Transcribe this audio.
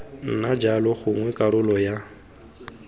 nna jalo gongwe karolo ya